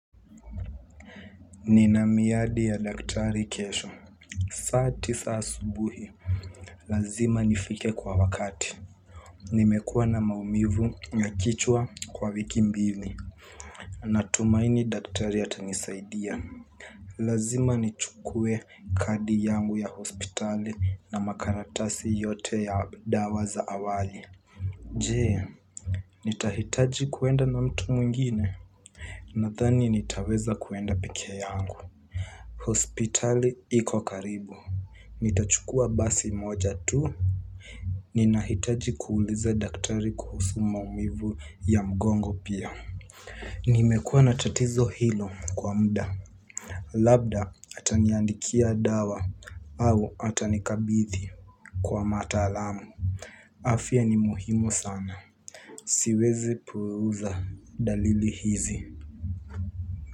Nina miadi ya daktari kesho. Saa tisa asubuhi. Lazima nifike kwa wakati. Nimekuwa na maumivu ya kichwa kwa wiki mbili. Natumaini daktari atanisaidia. Lazima nichukue kadi yangu ya hospitali na makaratasi yote ya dawa za awali. Je, nitahitaji kuenda na mtu mwingine? Nadhani nitaweza kuenda peke yangu. Hospitali iko karibu. Nitachukua basi moja tu. Ninahitaji kuuliza daktari kuhusu maumivu ya mgongo pia. Nimekuwa na tatizo hilo kwa muda. Labda ataniandikia dawa au atanikabidhi kwa mataalamu afya ni muhimu sana. Siwezi puuza dalili hizi.